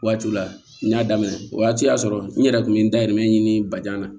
Waatiw la n y'a daminɛ o waati y'a sɔrɔ n yɛrɛ kun bɛ n dahirimɛmɛ ɲini ba na